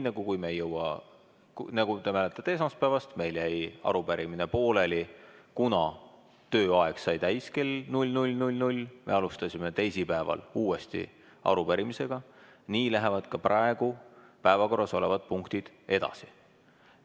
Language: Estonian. Nii nagu te mäletate esmaspäevast – meil jäi arupärimine pooleli, kuna tööaeg sai täis kell 00.00, ja me alustasime teisipäeval uuesti arupärimise arutamist –, lähevad ka praegu päevakorras olevad punktid edasi.